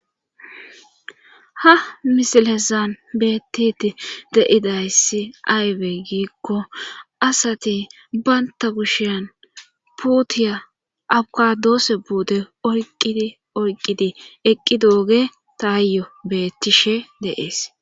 Ha misilesan bettit de'idayssi aywe giikko asati baynta bushiyan puutiya abkadoose buude oyqidi oyqqidi eqqi dooge taayyo beettishe deees.